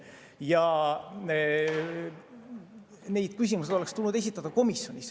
Ja neid küsimusi oleks tulnud esitada komisjonis.